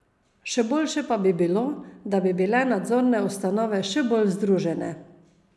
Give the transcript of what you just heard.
Še boljše pa bi bilo, da bi bile nadzorne ustanove še bolj združene.